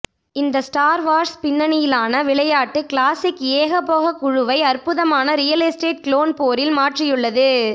இந்த star wars பின்னணியிலான விளையாட்டு கிளாசிக் ஏகபோக குழுவை அற்புதமான ரியல் எஸ்டேட் கிளோன் போரில் மாற்றியுள்ளது